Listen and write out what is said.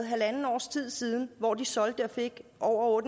halvandet års tid siden hvor de solgte det og